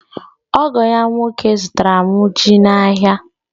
Ogo ya nwoke zụtara m ji n'ahịa.